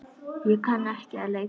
Ég kann ekki að leika.